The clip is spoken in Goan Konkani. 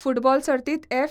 फुटबॉल सर्तीत एफ.